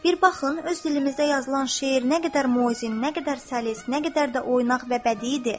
Bir baxın öz dilimizdə yazılan şeir nə qədər muzi, nə qədər səlis, nə qədər də oynaq və bədidir.